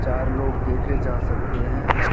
चार लोग देखे जा सकते हैं।